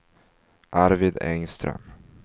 Arvid Engström